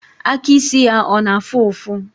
Aka ịsị ya ọ na afụ ụfụ?